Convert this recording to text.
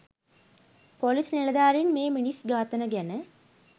police නිලධාරින් මේ මිනිස් ඝාතන ගැන